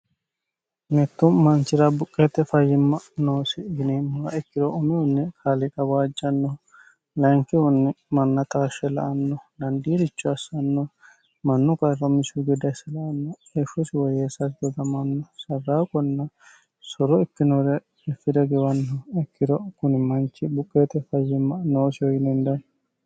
mittu manchira buqqeete fayyimma noosi yineemmoha ikkiro umihunni kaliqa waajjannoho layinkihunni manna taashshe la'anno dandiiricho assanno mannu qarra umisihu gedde asse la'anno heeshshosi woyyeesate dodamanno sarraaqonna soro ikkinore iffire giwanno ikkiro kuni manchi buqqeete fayyimma noosiho yine hendanni